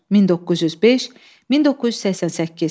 1905-1988.